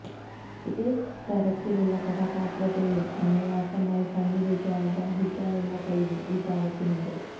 ഏത് തരത്തിലുള്ള കഥാപാത്രത്തെയും അനായാസമായി തന്നിലേക്ക് ആവാഹിക്കാനുള്ള കഴിവും ഈ താരത്തിനുണ്ട്